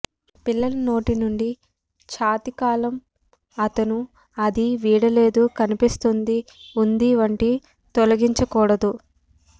పిల్లల నోటి నుండి ఛాతీ కాలం అతను అది వీడలేదు కనిపిస్తుంది ఉంది వంటి తొలగించకూడదు